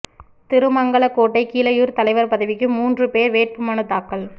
திருமங்கலக்கோட்டை கீழையூா் தலைவா் பதவிக்கு மூன்று போ் வேட்பு மனு தாக்கல்